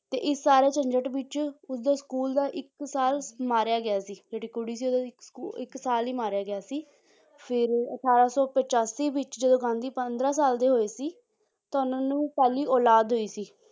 ਤੇ ਇਸ ਸਾਰੇ ਝੰਜਟ ਵਿੱਚ ਉਸਦੇ school ਦਾ ਇੱਕ ਸਾਲ ਮਾਰਿਆ ਗਿਆ ਸੀ ਜਿਹੜੀ ਕੁੜੀ ਸੀ ਉਹਦਾ ਇੱਕ ਸਕੂ~ ਇੱਕ ਸਾਲ ਹੀ ਮਾਰਿਆ ਗਿਆ ਸੀ ਫਿਰ ਅਠਾਰਾਂ ਸੌ ਪਚਾਸੀ ਵਿੱਚ ਜਦੋਂ ਗਾਂਧੀ ਪੰਦਰਾਂ ਸਾਲ ਦੇ ਹੋਏ ਸੀ ਤਾਂ ਉਹਨਾਂ ਨੂੰ ਪਹਿਲੀ ਔਲਾਦ ਹੋਈ ਸੀ